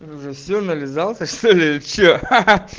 уже все нализался что-ли или что хах